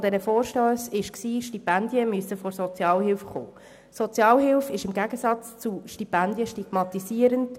Die Sozialhilfe ist im Gegensatz zu Stipendien stigmatisierend.